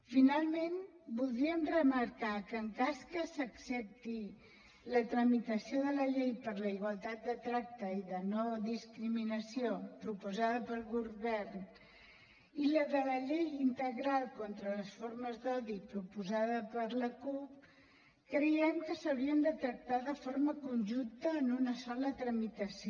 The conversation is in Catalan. finalment voldríem remarcar que en cas que s’accepti la tramitació de la llei per la igualtat de tracte i de no discriminació proposada pel govern i la de la llei integral contra les formes d’odi proposada per la cup creiem que s’haurien de tractar de forma conjunta en una sola tramitació